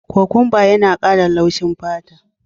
Kokwanba yana kara laushin fata.